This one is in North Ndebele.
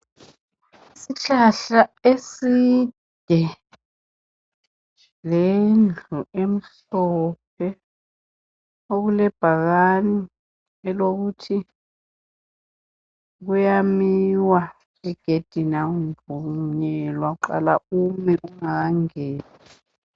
Isihlahla eside lendlu emhlophe okulebhakane elokuthi kuyamiwa egedini akuvunyelwa uqala ume ungakangeni.